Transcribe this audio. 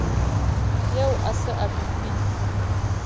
eo a se a befile